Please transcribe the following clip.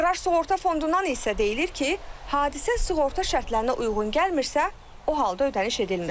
Aqrar Sığorta Fondundan isə deyilir ki, hadisə sığorta şərtlərinə uyğun gəlmirsə, o halda ödəniş edilmir.